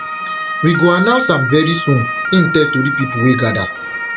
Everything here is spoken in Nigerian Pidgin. we go announce am very soon im tell tori pipo wey gada